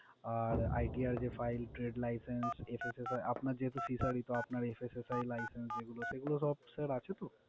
আর ITR যে file trade license SSI আপনার যেহেতু fishary তো আপনার SSI license যেগুলো সেগুলো সব sir আছে তো?